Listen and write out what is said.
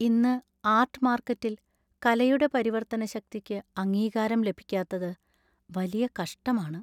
ഇന്ന് ആര്‍ട്ട്‌ മാര്‍ക്കറ്റില്‍ കലയുടെ പരിവർത്തന ശക്തിക്ക് അംഗീകാരം ലഭിക്കാത്തത് വലിയ കഷ്ടമാണ്.